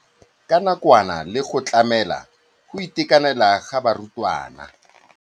Ya nakwana le go tlamela go itekanela ga barutwana.